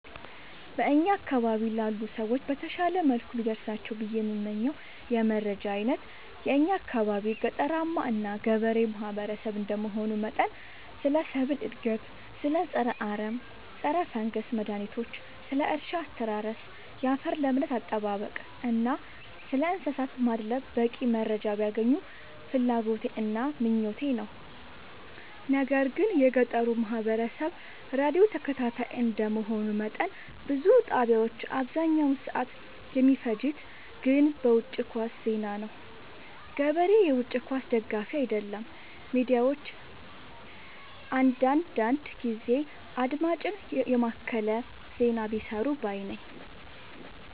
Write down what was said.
በእኛ አካባቢ ላሉ ሰዎች በተሻለ መልኩ ቢደርሳቸው ብዬ የምመኘው የመረጃ አይነት የእኛ አካባቢ ገጠራማ እና ገበሬ ማህበሰብ እንደመሆኑ መጠን ስለ ሰብል እድገት ስለ ፀረ አረም ፀረፈንገስ መድሀኒቶች ስለ እርሻ አስተራረስ ያፈር ለምነት አጠባበቅ እና ስለእንሰሳት ማድለብ በቂ መረጃ ቢያገኙ ፍላጎቴ እና ምኞቴ ነው። ነገር ግን የገጠሩ ማህበረሰብ ራዲዮ ተከታታይ እንደ መሆኑ መጠን ብዙ ጣቢያዎች አብዛኛውን ሰዓት የሚፈጅት ግን በውጪ ኳስ ዜና ነው። ገበሬ የውጪ ኳስ ደጋፊ አይደለም ሚዲያዎች አንዳንዳንድ ጊዜ አድማጭን የማከለ ዜና ቢሰሩ ባይነኝ።